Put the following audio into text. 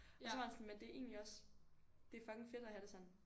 Og så var han sådan men det er egentlig også det er fucking fedt at have det sådan